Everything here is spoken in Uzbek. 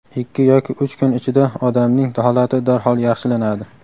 ikki yoki uch kun ichida odamning holati darhol yaxshilanadi.